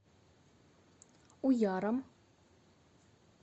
уяром